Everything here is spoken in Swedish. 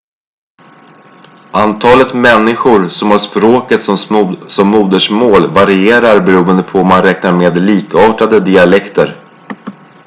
antalet människor som har språket som modersmål varierar beroende på om man räknar med likartade dialekter